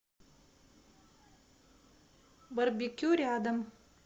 барбекю рядом